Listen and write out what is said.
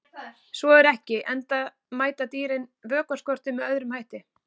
Svo er ekki, enda mæta dýrin vökvaskorti með öðrum hætti.